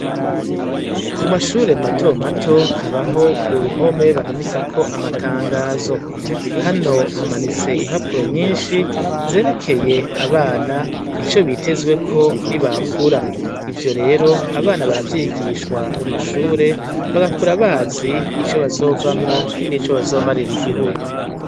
Ku mashire matomato habaho uruhome bamanikako amatangazo. Hano hamanitse impapuro nyinshi, zerekeye abana ico bitezweko ni bakura. Ivyo rero abana baravyigishwa mu mashure, bagakura bazi ico bazovamwo n'ico bazomarira igihigu.